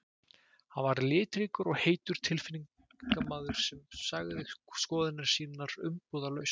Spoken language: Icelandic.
Hann var litríkur og heitur tilfinningamaður sem sagði skoðanir sínar umbúðalaust.